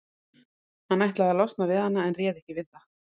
Hann ætlaði að losna við hana en réð ekki við það.